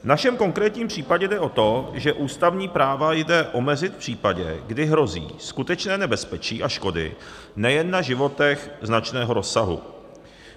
V našem konkrétním případě jde o to, že ústavní práva jde omezit v případě, kdy hrozí skutečné nebezpečí a škody nejen na životech značného rozsahu.